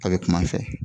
A bɛ kum'a fɛ